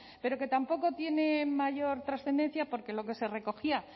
pero que tampoco tiene mayor trascendencia porque lo que se recogía